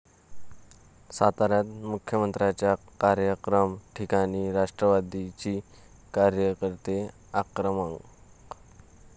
साताऱ्यात मुख्यमंत्र्यांच्या कार्यक्रम ठिकाणी राष्ट्रवादीचे कार्यकर्ते आक्रमक